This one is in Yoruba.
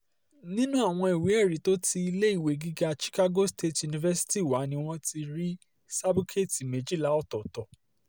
nínú àwọn ìwé ẹ̀rí tó ti iléèwé gíga chicago state university wá ni wọ́n ti rí sábúkẹ́ẹ̀tì méjìlá ọ̀tọ̀ọ̀tọ̀